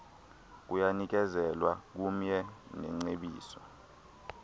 kuyanikezelwa kumye nengcebiso